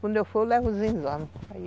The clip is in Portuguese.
Quando eu for, eu levo os exames.